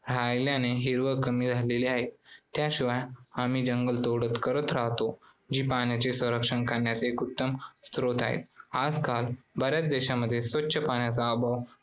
राहिल्याने हिरवळ कमी झालेली आहे. त्याशिवाय आम्ही जंगल तोडत करत राहतो. जी पाण्याचे संरक्षण करण्यास एक उत्तम स्रोत आहे. आजकाल बऱ्याच देशांमध्ये स्वच्छ पाण्याचा अभाव